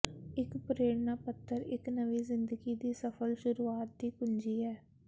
ਇੱਕ ਪ੍ਰੇਰਨਾ ਪੱਤਰ ਇੱਕ ਨਵੀਂ ਜ਼ਿੰਦਗੀ ਦੀ ਸਫਲ ਸ਼ੁਰੂਆਤ ਦੀ ਕੁੰਜੀ ਹੈ